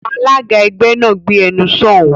Alága ẹgbẹ́ náà, "Gbé ẹnu sọ̀ún!"